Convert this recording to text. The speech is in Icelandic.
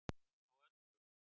Á öllu